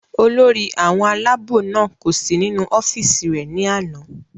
olórí àwọn aláàbò náà kò sí nínú ọ́fìsì rẹ̀ ní àná